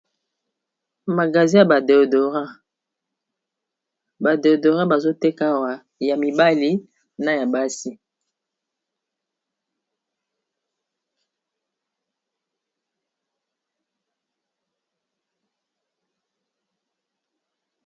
Magasin ya ba deodorant ba déodorant bazoteka awa ya mibali na ya basi.